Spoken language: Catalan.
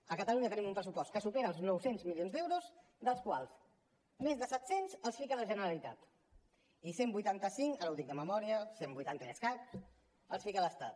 a catalunya tenim un pressupost que supera els nou cents milions d’euros dels quals més de set cents els fica la generalitat i cent i vuitanta cinc ara ho dic de memòria cent vuitanta i escaig els fica l’estat